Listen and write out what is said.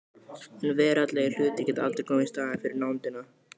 En veraldlegir hlutir geta aldrei komið í staðinn fyrir nándina.